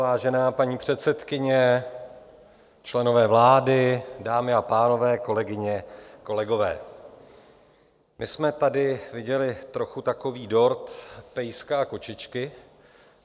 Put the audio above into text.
Vážená paní předsedkyně, členové vlády, dámy a pánové, kolegyně, kolegové, my jsme tady viděli trošku takový dort pejska a kočičky.